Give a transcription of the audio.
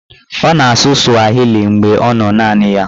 Ọ na-asụ swahili mgbe ọ nọ naanị ya.